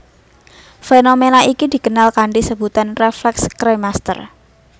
Fenomena iki dikenal kanthi sebutan refleks kremaster